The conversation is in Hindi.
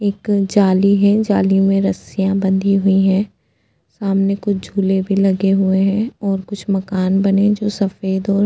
एक जाली है जाली में रसिया लगी हुई है सामने कुछ झूले भी लगे हुए हैं और कुछ मकान बने तो सफेद और --